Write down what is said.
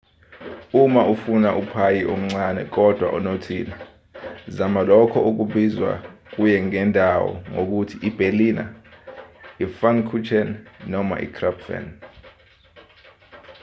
uma ufuna uphayi omncane kodwa onothile zama lokho okubizwa kuye ngendawo ngokuthi iberliner ipfannkuchen noma ikrapfen